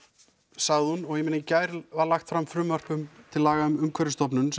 sagði hún og í gær var lagt fram frumvarp til laga um Umhverfisstofnun